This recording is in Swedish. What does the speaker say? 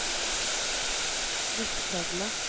Vittskövle